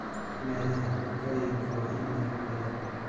Meelaxa dhiiqoyinka waa in la xafido.